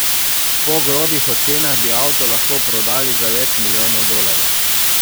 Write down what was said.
Po grobih ocenah bi avto lahko prodali za več milijonov dolarjev.